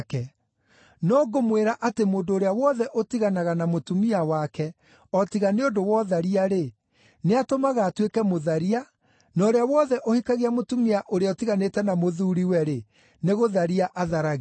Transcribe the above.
No ngũmwĩra atĩ mũndũ ũrĩa wothe ũtiganaga na mũtumia wake, o tiga nĩ ũndũ wa ũtharia-rĩ, nĩatũmaga atuĩke mũtharia, na ũrĩa wothe ũhikagia mũtumia ũrĩa ũtiganĩte na mũthuuriwe, nĩ gũtharia atharagia.